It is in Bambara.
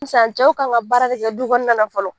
Sisan cɛw kan ka baara de kɛ du kɔnɔna la fɔlɔ